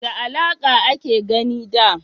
Da laƙa a a ke gini da